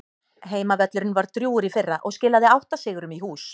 Heimavöllurinn var drjúgur í fyrra og skilaði átta sigrum í hús.